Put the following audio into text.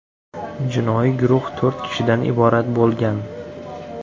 Jinoiy guruh to‘rt kishidan iborat bo‘lgan.